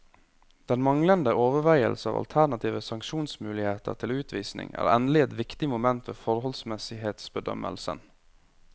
Den manglende overveielse av alternative sanksjonsmuligheter til utvisning er endelig et viktig moment ved forholdsmessighetsbedømmelsen.